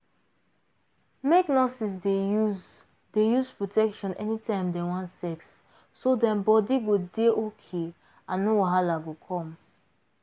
make nurses dey use dey use protection anytime dem wan sex so dem body go dey okay and no wahala go come